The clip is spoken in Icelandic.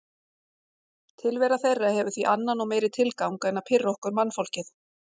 Tilvera þeirra hefur því annan og meiri tilgang en að pirra okkur mannfólkið.